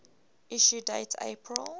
issue date april